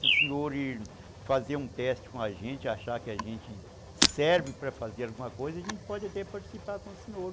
Se o senhor fazer um teste com a gente, achar que a gente serve para fazer alguma coisa, a gente pode até participar com o senhor.